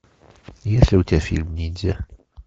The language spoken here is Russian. есть ли у тебя фильм ниндзя